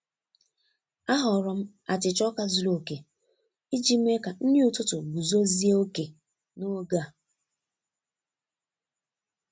A họọrọ m achịcha ọka zuru oke iji mee ka nri ụtụtụ guzozie oke n'oge a.